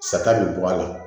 Sata bɛ bɔ a la